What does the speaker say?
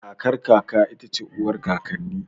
Kakar kaka ita ce uwar kakanni